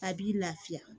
A b'i lafiya